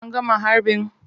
An gama harbin?